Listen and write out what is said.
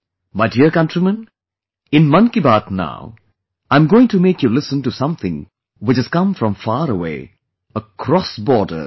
My dear countrymen, in Mann ki Baat now, I am going to make you listen to something which has come from far away, across borders